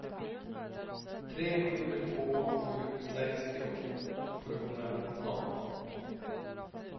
tre sju två sju sextio sjuhundranitton